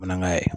Manangaya